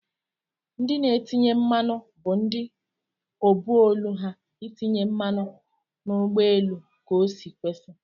Ndi n'etinye mmanụ bu ndi obu ọlụ ha itinye mmanụ n'ugbọ elu ka osi kwesi.